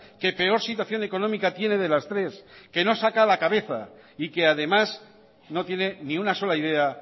que peor situación económica tiene de las tres que no saca la cabeza y que además no tiene ni una sola idea